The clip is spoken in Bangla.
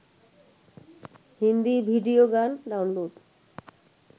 হিন্দি ভিডিও গান ডাউনলোড